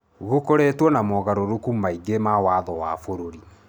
Gũkoretwo na mogarũrũku maingĩ ma watho wa bũrũri.